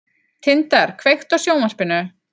Tindar, kveiktu á sjónvarpinu.